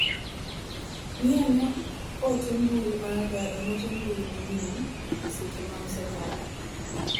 Ng'i ane ote mbui maga e mote mbui manyien e seche ma osekalo.